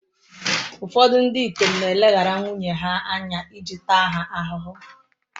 Ụfọdụ ndị ikom na-eleghara nwunye ha anya iji taa ha ahụhụ.